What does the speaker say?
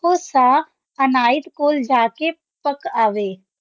ਅਖੁ ਸ਼ਾਹ ਅਨਾਯਤ ਕੋਲ ਜਾ ਪਾਕ ਅਵੇ